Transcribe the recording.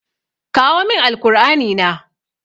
Kawo min Alkur'ani na.